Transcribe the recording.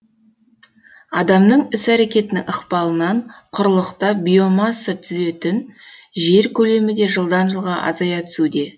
адамның іс әрекетінің ықпалынан құрлықта биомасса түзетін жер көлемі де жылдан жылға азая түсуде